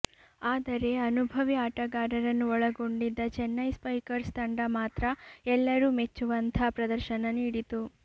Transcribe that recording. ಆದರೆ ಅನುಭವಿ ಆಟಗಾರರನ್ನು ಒಳಗೊಂಡಿದ್ದ ಚೆನ್ನೈ ಸ್ಪೈಕರ್ಸ್ ತಂಡ ಮಾತ್ರ ಎಲ್ಲರೂ ಮೆಚ್ಚುವಂಥ ಪ್ರದರ್ಶನ ನೀಡಿತು